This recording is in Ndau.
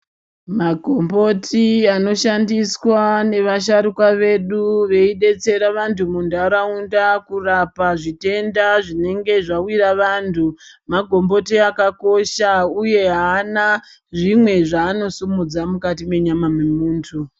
Magomboti anoshandiswa ngevasharukwa vedu veidetsere vanhu munharaunda kurapa zvitenda zvinenge zvawira vanhu. Magomboti akakosha uye aana zvimwe zvaanosimudza mukati mwenyama yemuntu.